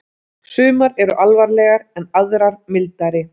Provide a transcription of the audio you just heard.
Sumar eru alvarlegar en aðrar mildari.